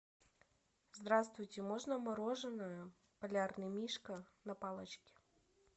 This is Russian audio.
здравствуйте можно мороженое полярный мишка на палочке